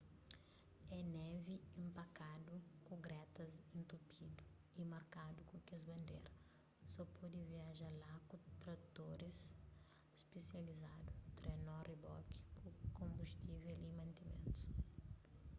é névi inpakadu ku gretas intupidu y markadu ku kes bandera so pode viaja laku tratoris spisializadu trenó riboki ku konbustivel y mantimentus